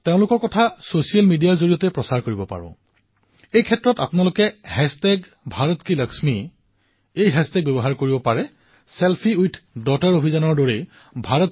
মোৰ মৰমৰ দেশবাসীসকল মন কী বাতৰ বিষয়ে মই পূৰ্বতেও কৈছিলো যে ইয়াৰ আটাইতকৈ ডাঙৰ লাভটো হল বহু জনাঅজানা লোকৰ সৈতে কথা পতাৰ সৌভাগ্য মই লাভ কৰো